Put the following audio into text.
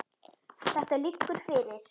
Þetta liggur fyrir.